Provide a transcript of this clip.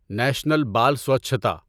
national بال سوچھتا